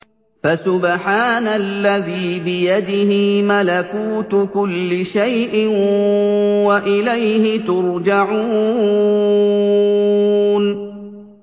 فَسُبْحَانَ الَّذِي بِيَدِهِ مَلَكُوتُ كُلِّ شَيْءٍ وَإِلَيْهِ تُرْجَعُونَ